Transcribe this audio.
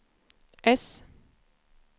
S